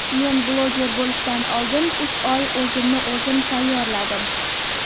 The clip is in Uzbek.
Men bloger bo‘lishdan oldin uch oy o‘zimni-o‘zim tayyorladim.